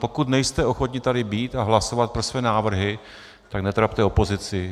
Pokud nejste ochotni tady být a hlasovat pro své návrhy, tak netrapte opozici.